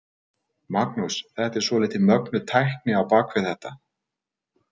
Magnús: Þetta er svolítið mögnuð tækni á bak við þetta?